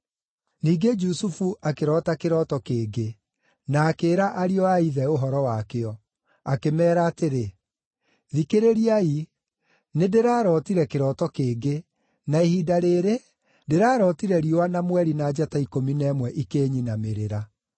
Ningĩ Jusufu akĩroota kĩroto kĩngĩ, na akĩĩra ariũ a ithe ũhoro wakĩo. Akĩmeera atĩrĩ, “Thikĩrĩriai, nĩndĩrarootire kĩroto kĩngĩ, na ihinda rĩĩrĩ, ndĩrarootire riũa, na mweri, na njata ikũmi na ĩmwe ikĩnyinamĩrĩra.”